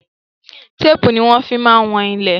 Téépù ni wọn fi máa ń wọn ilẹ̀